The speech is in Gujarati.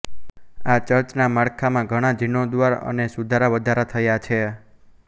આ ચર્ચના માળખામાં ઘણાં જીર્ણોદ્ધાર અને સુધારાવધારા થયા છે